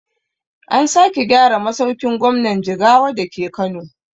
An sake gyara masaukin gwamnan jigawa dake kano